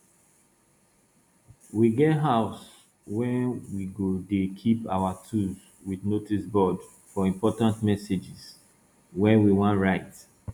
we get house wey we go dey keep our tools wit notice board for important messages wey we wan write